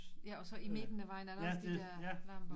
Ja og så i midten af vejen er der også de der lamper